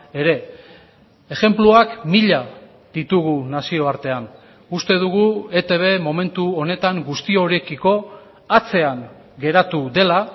ere ejenpluak mila ditugu nazioartean uste dugu etb momentu honetan guztiorekiko atzean geratu dela